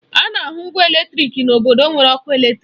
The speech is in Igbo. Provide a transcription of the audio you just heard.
Ana ahụ ngwa eletrịk n'obodo nwere ọkụ eletrịk.